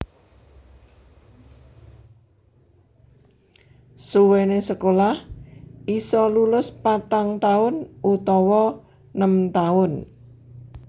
Suwéné sekolah isa lulus patang taun utawa nem taun